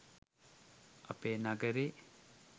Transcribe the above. අපේ නගරෙ